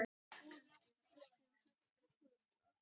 Kannski var ástin holl fyrir tónlistina.